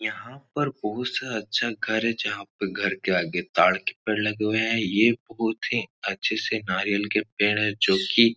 यहाँ पे बहुत सा अच्छा घर है। जहाँ पे घर के आगे ताड़ के पेड़ लगे हुए हैं। ये बहुत ही अच्छे से नारियल के पेड़ हैं। जो की --